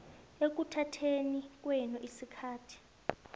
ekuthatheni kwenu isikhathi